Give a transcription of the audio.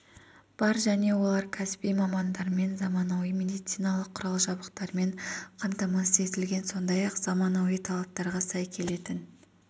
бар және олар кәсіби мамандармен заманауи медициналық құрал-жабдықтармен қамтамасыз етілген сондай-ақ заманауи талаптарға сай келетін